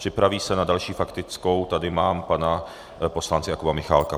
Připraví se, na další faktickou tady mám pana poslance Jakuba Michálka.